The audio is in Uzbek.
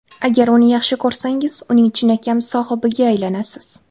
Agar uni yaxshi ko‘rsangiz, uning chinakam sohibiga aylanasiz!